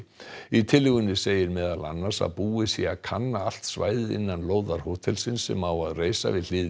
í tillögunni segir meðal annars að búið sé að kanna allt svæðið innan lóðar hótelsins sem á að reisa við hlið